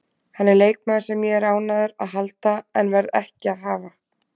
Hann er leikmaður sem ég er ánægður að halda en verð ekki að hafa.